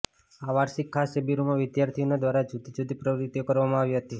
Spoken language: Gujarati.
આ વાર્ષિક ખાસ શિબિરમાં વિઘાર્થીનીઓ દ્વારા જુદી જુદી પ્રવૃત્તિઓ કરવામાં આવી હતી